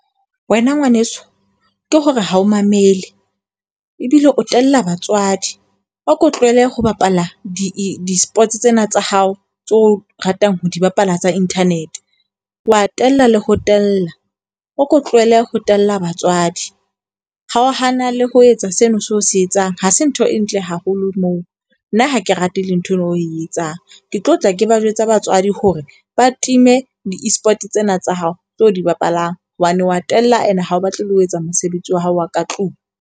Wena ngwaneso, ke hore ha o mamele. Ebile o tella batswadi. Ako tlohele ho bapala di di-sports tsena tsa hao tse o ratang ho di bapala tsa internet. Wa tella le ho tella. O ko tlohelle ho tella batswadi. Kgaohana le ho etsa seno seo o se etsang. Ha se ntho e ntle haholo moo. Nna ha ke rate le nthwena o e etsang. Ke tlo tla ke ba jwetsa batswadi hore ba time di-eSport tsena tsa hao tse o di bapalang hobane wa tella and ha o batle le ho etsa mosebetsi wa hao wa ka tlung.